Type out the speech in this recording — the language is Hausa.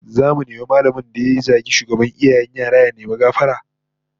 Zamu nemi mallamin da ya zagi shugaban iyayen yara ya nemi gafara